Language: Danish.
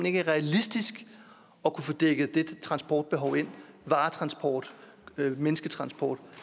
ikke er realistisk at kunne få dækket det transportbehov ind varetransport mennesketransport